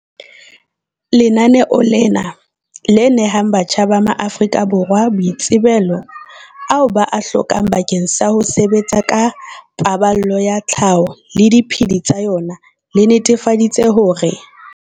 Lenaneo lena, le nehang batjha ba maAforika Borwa baitsebelo ao ba a hlokang bakeng sa ho sebetsa ka paballo ya tlhaho le diphedi tsa yona, le netefaditse hore.